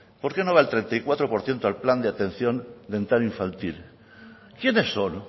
por qué no va el treinta y cuatro por ciento al plan de atención dental infantil quiénes son